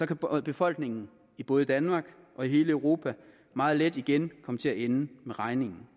kan befolkningen i både danmark og hele europa meget let igen komme til at ende med regningen